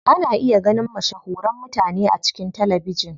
Ana iya ganin mashahuran mutane a cikin talabijin.